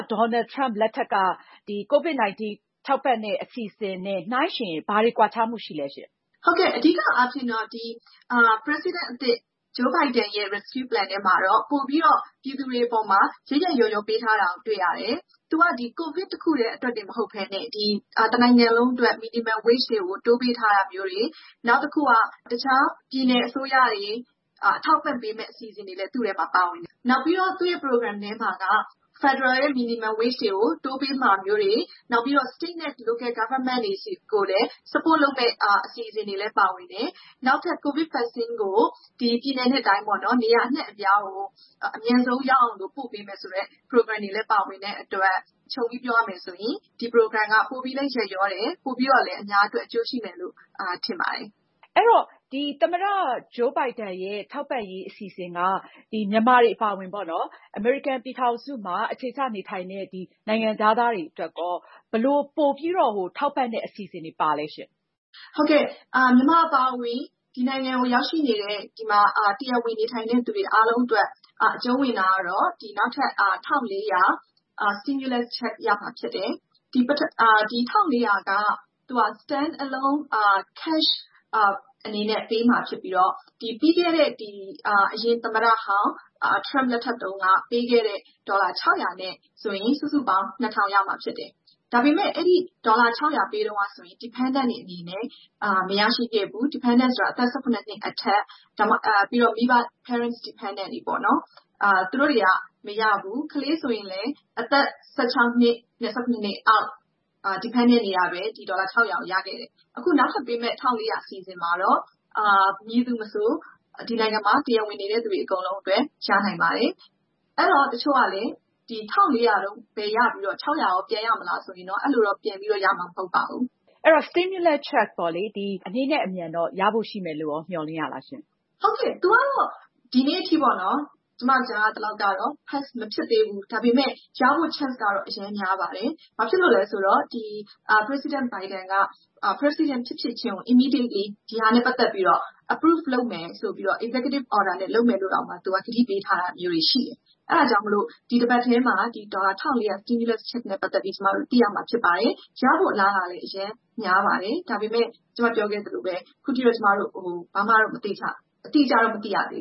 ဒေါ်နယ်လ်ထရမ့်လက်ထက်က ထောက်ပံ့တဲ့ ပုံစံမျိုးနဲ့ ဘာတွေကွာခြားမှုရှိလဲရှင့်။ မဝင်းမြတ်သူ။ ။ ဟုတ်ကဲ့ အဓိကအားဖြင့်တော့ ဒီ သမ္မတသစ် Joe Biden ရဲ့ rescue plan ထဲမှာတော့ ပိုပြီးတော့ ပြည်သူတွေအပေါ်မှာ ရက်ရက်ရောရော ပေးထားတာကို တွေ့ရတယ်။ သူက COVID တခုတည်းတင်မဟုတ်ပဲနဲ့ တနိုင်ငံလုံးအတွက် Minimum wage တွေကို တိုးပေးထားတာမျိုးတွေ ၊ နောက်တခု က တခြား ပြည်နယ်အစိုးရတွေ အထောက်အပံ့ပေးမယ့် အစီအစဉ် တွေလည်း သူ့အထဲမှာ ပါဝင်တယ် ။ နောက်ပြီးတော့ သူ့ အစီအစဉ် ထဲမှာက ဗဟိုအစိုးရ ရဲ့ အနိမ့်ဆုံးလစာ သတ်မှတ်ချက် ကိုတိုးပေးမှာမျိုးတွေ၊ နောက်ပြီးတော့ ပြည်နယ်အစိုးရ တွေဆီကိုလည်း အထောက်အပံ့လုပ်မယ့် အစီအစဉ်တွေလည်း ပါဝင်တယ်။ နောက်ထပ် COVID ကာကွယ်ဆေး ကို ပြည်နယ်နဲ့တိုင်း နေရာအနှံ့အပြားကို အမြန်ဆုံးရောက်အောင် ပို့ပေးမယ်ဆိုတဲ့ အစီအစဉ်တွေလည်း ပါဝင်တဲ့အတွက် ခြုံပြီးပြောရမယ်ဆိုရင် ဒီ Program က ပိုပြီးလည်း ရက်ရောတယ်၊ ပိုပြီးတော့လည်း အများအတွက် အကျိုးရှိမယ်လို့ ထင်ပါတယ်။ အင်ကြင်းနိုင်။။ အဲတော့ သမ္မတ ဂျိုးဘိုင်ဒန်ရဲ့ American Rescue အစီအစဉ်က မြန်မာတွေအပါအဝင် အမေရိကန်ပြည်ထောင်စုမှာ အခြေချနေထိုင်တဲ့ နိုင်ငံခြားသားတွေအတွက်ရော ဘယ်လိုပိုပြီး ထောက်ပံ့တဲ့ အစီအစဉ်တွေ ပါသလဲရှင့်။ မဝင်းမြတ်သူ။ ။ ဟုတ်ကဲ့။ မြန်မာအပါအဝင် ဒီနိုင်ငံကို ရောက်ရှိနေတဲ့ ဒီမှာ တရားဝင်နေထိုင်တဲ့သူတွေ အားလုံးအတွက် အကျုံးဝင်တာကတော့ နောက်ထပ် ဒေါ်လာ ၁,၄၀၀ stimulus check ရမှာဖြစ်တယ်။ ဒီ ဒေါ်လာ ၁,၄၀၀ က ငွေသား အနေနဲ့ ထုတ်ယူဖို့ ပေးပို့မှာဖြစ်ပြီးတော့ ပြီးခဲ့တဲ့ အရင်သမ္မတဟောင်း Trump လက်ထက်တုန်းက ပေးခဲ့တဲ့ ဒေါ်လာ ၆၀၀ နဲ့ဆိုရင် စုစုပေါင်း ၂၀၀၀ ရမှာဖြစ်တယ်။ ဒါပေမယ့် အဲဒီ ဒေါ်လာ ၆၀၀ ပေးတုန်းကဆိုရင် Dependent တွေအနေနဲ့ မရရှိခဲ့ဘူး။ Dependent ဆိုတာ အသက် ၁၇ နှစ်အထက် ၊ ပြီးတော့ Parents Dependent တွေပေါ့နော်။ သူတို့တွေက မရဘူး။ ကလေးဆိုရင်လည်း အသက် ၁၆ နှစ် နဲ့ ၁၇ နှစ်အောက် Dependent တွေပဲ ဒီ ဒေါ်လာ ၆၀၀ ကို ရခဲ့တယ်။ အခု နောက်ထပ်ပေးမယ့် ၁၄၀၀ အစီအစဉ်မှာတော့ မည်သူမဆို ဒီနိုင်ငံမှာ တရားဝင်နေတဲ့သူတွေအကုန်လုံး ရနိုင်ပါတယ်။ အဲဒီ တချို့က ဒီ ၁၄၀၀ ကိုရပြီးတော့ ဒီ ဒေါ်လာ ၆၀၀ ကို ပြန်ရမလားဆိုပြီးတော့ မေးတယ်။ အဲလိုတော့ ပြန်ပြီးတော့ ရမှာ မဟုတ်ပါဘူး။ အင်ကြင်းနိုင်။။ ဒီတော့ ဒေါ်လာ ၁၄၀၀ တန် ချက်လက်မှတ်ကို ဘယ်တော့လောက်ရမယ်လို့ မျှော်လင့်ရသလဲရှင်။ မဝင်းမြတ်သူ။ ။ ဒီနေ့အထိပေါ့နော် ကျမကြားရသလောက်ကတော့ Pass မဖြစ်သေးဘူး။ ဒါပေမယ့် ရဖို့ chance ကတော့ အရမ်းများပါတယ်။ ဘာဖြစ်လို့လဲဆိုတော့ President Biden က President ဖြစ်ဖြစ်ချင်းကို ဒါနဲ့ ပတ်သက်ပြီးတော့ approve လုပ်မယ်ဆိုပြီးတော့ executive order နဲ့တောင်လုပ်မယ်ဆိုပြီးတော့ ကတိပေးထားတာမျိုးတွေရှိတယ်။ အဲဒါကြောင့်မို့လို့ ဒီတပတ်ထဲမှာ ဒေါ်လာ ၁၄၀၀ stimulus check နဲ့ ပတ်သက်ပြီး ကျမတို့ သိရမှာ ဖြစ်ပါတယ်။ ရဖို့ အလားအလာ အရမ်းများပါတယ်။ ဒါပေမယ့် ခုနက ကျမပြောသလိုပါပဲ ဘာမှ တော့ အတိအကျ မသိရသေး